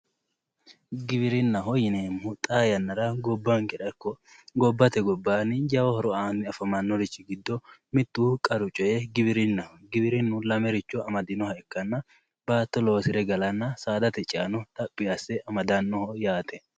Giwirinnaho yineemmohu xaa yannara gobbankera ikko gobbate gobbaanni jawa horo aanni afamannorichi giddo qaru coy giwirinnaho, giwirinnu lamericho amadinoha ikkanna, baatto loosire galanna saadate ceono xaphi asse amadannoho.